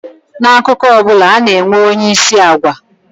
N'akụkọ ọ bụla, ana-enwe onyeisi agwa